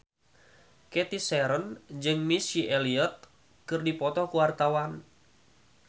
Cathy Sharon jeung Missy Elliott keur dipoto ku wartawan